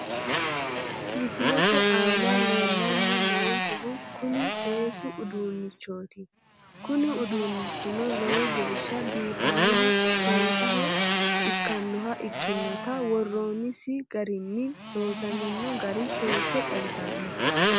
Misilete aana leellanni noonkehu kuni seesu uduunnichooti kuni uduunnichino lowo geeshsha biifannonna seessaho ikkannoha ikkinota worroonnisi garinna loosamino gari seekke xawissanno.